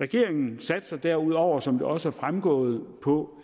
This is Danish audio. regeringen satser derudover som det også er fremgået på